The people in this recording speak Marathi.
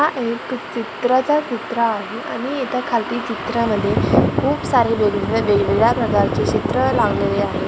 हा एक चित्राचा कुत्रा आहे आणि इथं खालती चित्रामध्ये खूप सारे वेगवेगळ्या वेगवेगळ्या प्रकारचे चित्र लावलेले आहेत .